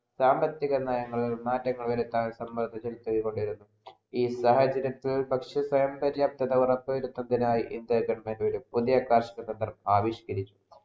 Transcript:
സാമ്പത്തിക നയങ്ങൾ മാറ്റങ്ങൾ വരുത്താൻ വേണ്ടി കൊണ്ടേ ഇരുന്നു ഈ സാഹചര്യത്തിൽ ഭക്ഷ്യ സ്വയം പര്യാപ്ത ഉറപ്പുവരുത്തുന്നതിനായി ഇന്ത്യ government വരും പുതിയ കാർഷിക പദ്ധതികൾ ആവിഷ്‌കരിച്ചു